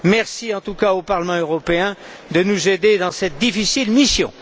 Merci, en tout cas, au Parlement européen de nous aider dans cette difficile mission.